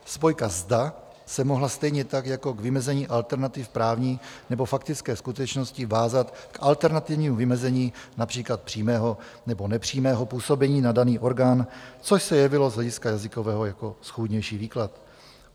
Spojka "zda" se mohla stejně tak jako k vymezení alternativ právní nebo faktické skutečnosti vázat k alternativnímu vymezení například přímého nebo nepřímého působení na daný orgán, což se jevilo z hlediska jazykového jako schůdnější výklad.